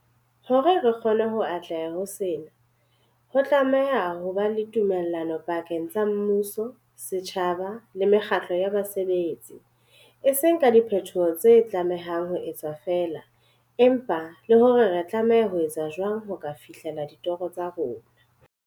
Hore re kgone ho atleha ho sena, ho tlameha ho ba le tumellano pakeng tsa mmuso, setjhaba le mekgatlo ya basebetsi, e seng ka diphetoho tse tlamehang ho etswa feela, empa le hore re tlameha ho etsa jwang ho ka fihlela ditoro tsa rona.